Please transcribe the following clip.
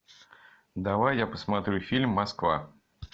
давай я посмотрю фильм москва